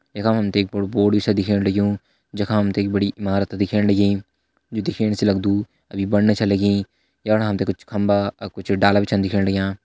यखम हम्थे एक बडू बोर्ड सी दिख्याणु लग्युं जखा हम्थे एक बड़ी ईमारत दिख्याणी लगीं इ दिख्याणु से लगदु अभी बनने से लगीं याणा हम्थे कुछ खम्बा और कुछ डाला भी छिन दिख्याणा लाग्यां।